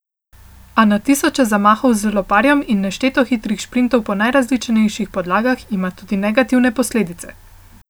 A na tisoče zamahov z loparjem in nešteto hitrih šprintov po najrazličnejših podlagah ima tudi negativne posledice.